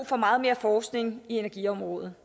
for meget mere forskning i energiområdet